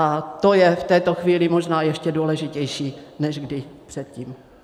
A to je v této chvíli možná ještě důležitější než kdy předtím.